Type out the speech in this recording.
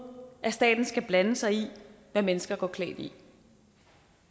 at staten skal blande sig i hvad mennesker går klædt i